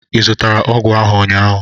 ị zụrụtara ọgwụ ahụ ụnyaahụ?